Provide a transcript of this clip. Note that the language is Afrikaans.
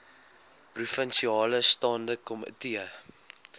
provinsiale staande komitee